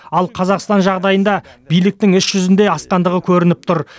ал қазақстан жағдайында биліктің іс жүзінде асқандығы көрініп тұр